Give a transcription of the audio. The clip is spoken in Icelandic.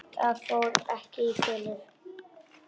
Það fór ekki í felur.